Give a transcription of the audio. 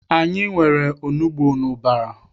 Anyị nwere onugbu n'ụbara.